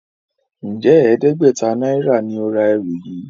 Njé ẹdẹgbẹta náírà ní o rà ẹrù yí?